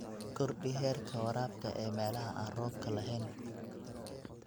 Kordhi heerka waraabka ee meelaha aan roobka lahayn.